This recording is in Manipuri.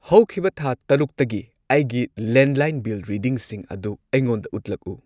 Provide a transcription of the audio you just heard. ꯍꯧꯈꯤꯕ ꯊꯥ ꯇꯔꯨꯛꯇꯒꯤ ꯑꯩꯒꯤ ꯂꯦꯟꯂꯥꯏꯟ ꯕꯤꯜ ꯔꯤꯗꯤꯡꯁꯤꯡ ꯑꯗꯨ ꯑꯩꯉꯣꯟꯗ ꯎꯠꯂꯛꯎ꯫